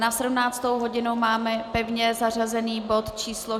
Na 17. hodinu máme pevně zařazený bod číslo